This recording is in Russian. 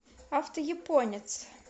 автояпонец